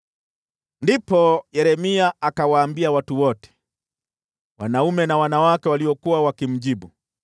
Ndipo Yeremia akawaambia watu wote, wanaume na wanawake waliokuwa wakimjibu,